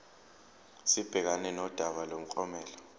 sibhekane nodaba lomklomelo